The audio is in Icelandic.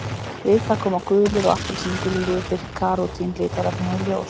Við það koma gulir og appelsínugulir litir karótín litarefnanna í ljós.